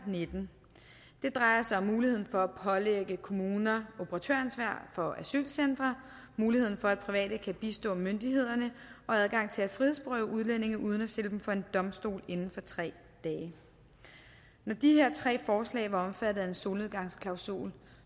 og nitten det drejer sig om muligheden for at pålægge kommuner operatøransvar for asylcentre muligheden for at private kan bistå myndighederne og adgangen til at frihedsberøve udlændinge uden at stille dem for en domstol inden for tre dage når de her tre forslag var omfattet af en solnedgangsklausul